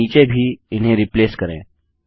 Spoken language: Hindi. यहाँ नीचे भी इन्हें रिप्लेस करें